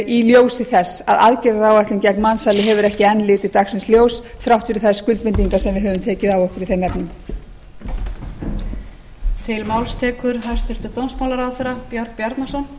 í ljósi þess að aðgerðaráætlun gegn mansali hefur ekki enn litið dagsins ljós þrátt fyrir þær skuldbindingar sem við höfum tekið á okkur í þeim efnum